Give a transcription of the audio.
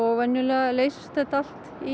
venjulega leysist þetta allt í